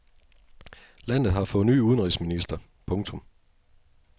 Landet har fået ny udenrigsminister. punktum